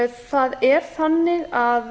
það er þannig að